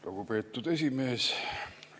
Lugupeetud esimees!